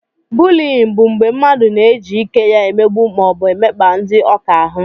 Bụliyin bụ mgbé mmadụ na-eji ike ya emegbu maọbu emekpa ndị ọ ka ahụ.